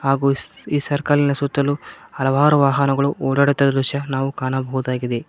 ಹಾಗು ಈ ಸರ್ಕಲ್ ನ ಸುತ್ತಲು ಹಲವಾರು ವಾಹನಗಳು ಓಡಾಡುತ್ತಿರುವ ದೃಶ್ಯ ನಾವು ಕಾಣಬಹುದಾಗಿದೆ.